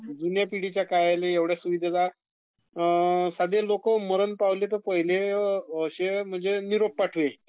Sound not clear साधे लोकं मरण पावले तर निरोप पाठवे